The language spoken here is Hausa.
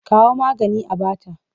Kawo maganin a ba ta!